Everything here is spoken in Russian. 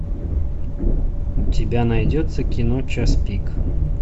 у тебя найдется кино час пик